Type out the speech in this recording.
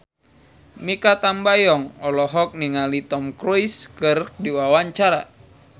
Mikha Tambayong olohok ningali Tom Cruise keur diwawancara